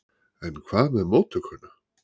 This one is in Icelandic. En hvað með móttökuna?